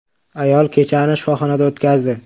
Ayol kechani shifoxonada o‘tkazdi.